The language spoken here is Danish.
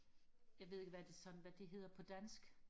jeg ved ikke hvad det sådan hvad det hedder på dansk